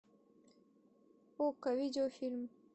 окко видеофильм